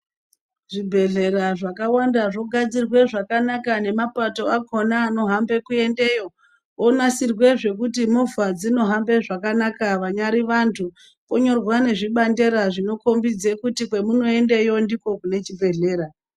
Zvibhehlera zvakawanda zvogadzirwe zvakanaka nemapato akona anohambe kuendeyo onasirwe zvekuti movha dzino hambe zvakanaka vanyari vandu vonyarwa nezvibandera zvinokombidze kuti kwemunoende yoh ndokunechibhehlera